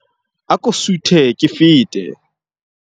Ako suthe ke fete.